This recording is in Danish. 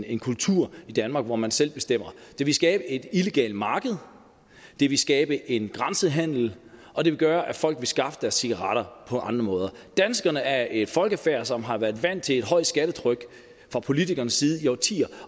en kultur i danmark hvor man selv bestemmer det vil skabe et illegalt marked det vil skabe en grænsehandel og det vil gøre at folk vil skaffe deres cigaretter på andre måder danskerne er et folkefærd som har været vant til et højt skattetryk fra politikernes side i årtier